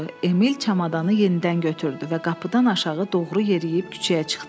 Emil çamadanı yenidən götürdü və qapıdan aşağı doğru yeriyib küçəyə çıxdı.